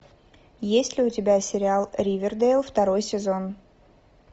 есть ли у тебя сериал ривердейл второй сезон